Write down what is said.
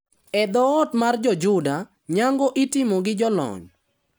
E dhoot mar jo Juda, nyango itimo gi jolony.